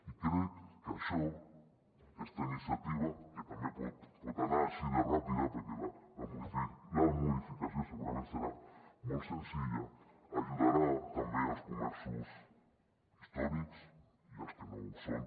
i crec que això aquesta iniciativa que també pot anar així de ràpida perquè la modificació segurament serà molt senzilla ajudarà també els comerços històrics i els que no ho són